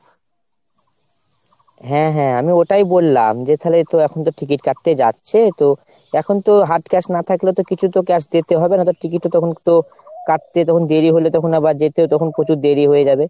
হ্যাঁ হ্যাঁ আমি ওটাই বললাম যে তালে তো এখন ticket কাটতে যাচ্ছে তো এখন তো hard cash না থাকলে তো কিছু তো cash দিতে হবে নয়তো ticket ও তখন তো কাটতে তখন দেরি হলে আবার যেতেও তখন প্রচুর দেরি হয়ে যাবে।